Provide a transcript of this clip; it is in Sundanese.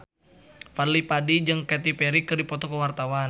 Fadly Padi jeung Katy Perry keur dipoto ku wartawan